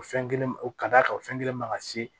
O fɛn kelen o ka d'a kan o fɛn kelen ma ka se